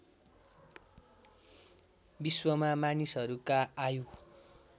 विश्वमा मानिसहरूका आयु